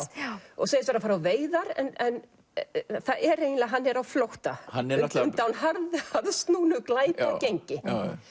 og segist vera að fara á veiðar en hann er á flótta undan harðsnúnu glæpagengi